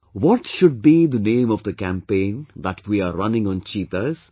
What should be the name of the campaign that we are running on cheetahs